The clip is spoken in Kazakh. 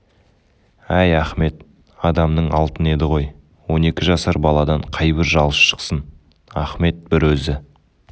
әй ахмет адамның алтыны еді ғой он екі жасар баладан қайбір жалшы шықсын ахмет бір өзі